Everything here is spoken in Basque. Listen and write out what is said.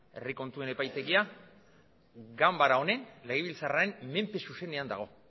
herri kontuen epaitegia ganbara honen legebiltzarraren menpe zuzenean dago